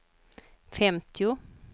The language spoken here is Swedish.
femtio